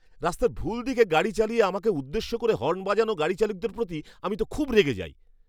রাস্তার ভুল দিকে গাড়ি চালিয়ে আমাকে উদ্দেশ্য করে হর্ন বাজানো গাড়িচালকদের প্রতি আমি তো খুব রেগে যাই।